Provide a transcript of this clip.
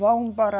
Vão para...